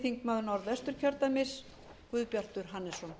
hæstvirtur forseti ég tala fyrir framhaldsnefndaráliti frá